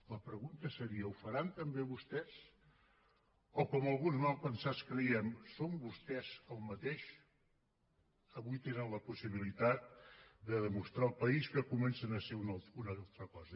la pregunta seria ho faran també vostès o com alguns malpensats creiem són vostès el mateix avui tenen la possibilitat de demostrar al país que comencen a ser una altra cosa